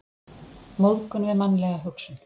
Móðgun við mannlega hugsun.